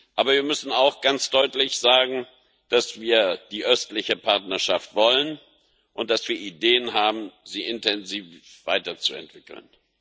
Aber wir müssen auch ganz deutlich sagen, dass wir die Östliche Partnerschaft wollen und dass wir Ideen haben, sie intensiv weiterzuentwickeln.